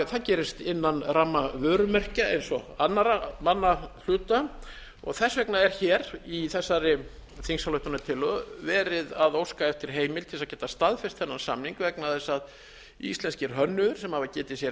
það gerist innan ramma vörumerkja eins og annarra manna hluta og þess vegna er hér í þessari þingsályktunartillögu verið að óska eftir heimild til að geta staðfest þennan samning vegna þess að íslenskir hönnuðir sem hafa getið sér